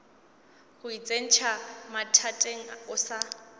go itsentšha mathateng o sa